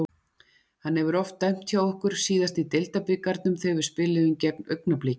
Hann hefur oft dæmt hjá okkur, síðast í deildabikarnum þegar við spiluðum gegn Augnabliki.